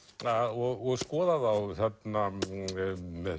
og skoða þá þarna með